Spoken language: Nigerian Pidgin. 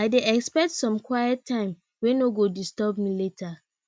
i dey expect some quiet time wey no go disturb me later